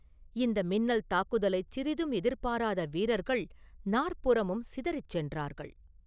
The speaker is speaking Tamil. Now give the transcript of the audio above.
இந்த மின்னல் தாக்குதலைச் சிறிதும் எதிர்பாராத வீரர்கள் நாற்புறமும் சிதறிச் சென்றார்கள்.